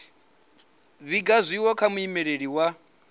vhiga tshiwo kha muimeleli wa